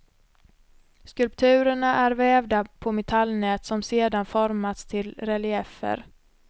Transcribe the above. Skulpturerna är vävda på metallnät som sedan formas till reliefer.